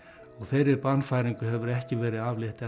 og þeirri bannfæringu hefur ekki verið aflétt